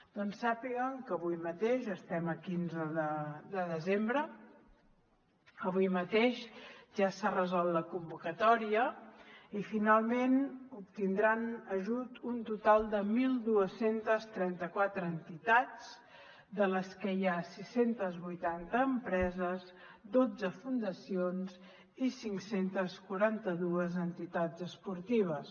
doncs sàpiguen que avui mateix estem a quinze de desembre ja s’ha resolt la convocatòria i finalment obtindran ajut un total de dotze trenta quatre entitats entre les quals hi ha sis cents i vuitanta empreses dotze fundacions i cinc cents i quaranta dos entitats esportives